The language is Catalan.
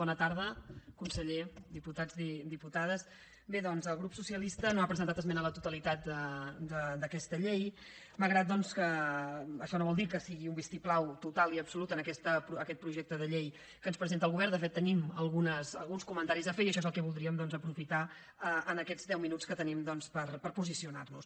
bona tarda conseller diputats diputades bé doncs el grup socialista no ha presentat esmena a la totalitat d’aquesta llei malgrat doncs que això no vol dir que sigui un vistiplau total i absolut en aquest projecte de llei que ens presenta el govern de fet tenim alguns comentaris a fer i això és el que voldríem doncs aprofitar per fer en aquests deu minuts que tenim per posicionar nos